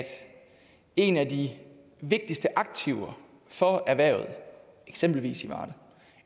en af de vigtigste aktiver for erhvervet i eksempelvis varde og